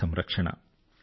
జలసంరక్షణ